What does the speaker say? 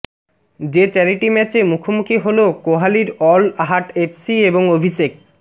যে চ্যারিটি ম্যাচে মুখোমুখি হল কোহালির অল হার্ট এফসি এবং অভিষেক